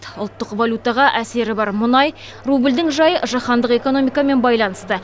ұлттық валютаға әсері бар мұнай рубльдің жайы жаһандық экономикамен байланысты